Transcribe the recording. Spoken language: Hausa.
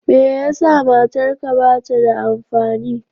Me yasa matarka bata da amfani?